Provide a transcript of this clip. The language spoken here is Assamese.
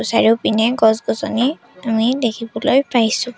চাৰিওপিনে গছ-গছনি আমি দেখিবলৈ পাইছোঁ।